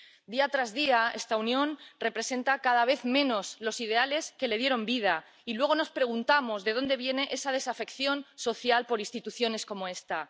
Día tras día, esta Unión representa cada vez menos los ideales que le dieron vida, y luego nos preguntamos de dónde viene esa desafección social por instituciones como esta.